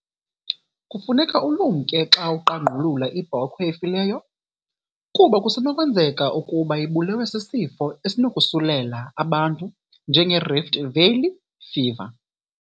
Kufuneka ulumnke xa uqangqulula ibhokhwe efileyo, kuba kusenokwenzeka ukuba ibulewe sisifo esinokosulela abantu njengeRift Valley fever.